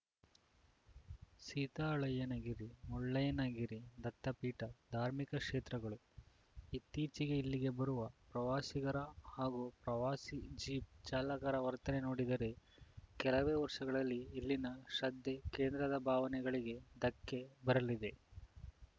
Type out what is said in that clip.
ಸೀತಾಳಯ್ಯನಗಿರಿ ಮುಳ್ಳಯ್ಯನಗಿರಿ ದತ್ತಪೀಠ ಧಾರ್ಮಿಕ ಕ್ಷೇತ್ರಗಳು ಇತ್ತೀಚೆಗೆ ಇಲ್ಲಿಗೆ ಬರುವ ಪ್ರವಾಸಿಗರ ಹಾಗೂ ಪ್ರವಾಸಿ ಜೀಪ್‌ ಚಾಲಕರ ವರ್ತನೆ ನೋಡಿದರೆ ಕೆಲವೇ ವರ್ಷಗಳಲ್ಲಿ ಇಲ್ಲಿನ ಶ್ರದ್ಧೆ ಕೇಂದ್ರದ ಭಾವನೆಗಳಿಗೆ ಧಕ್ಕೆ ಬರಲಿದೆ